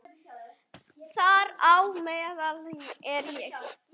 Þar á meðal er ég.